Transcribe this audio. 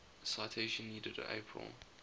citation needed april